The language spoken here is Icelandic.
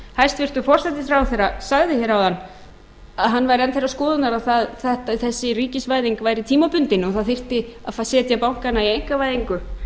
hæstvirtur forsætisráðherra sagði hér áðan að hann væri enn þeirrar skoðunar að þessi ríkisvæðing væri tímabundin og það þyrfti að setja bankana í einkavæðingu